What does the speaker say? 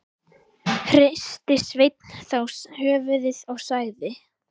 Hristi Sveinn þá höfuðið og sagði: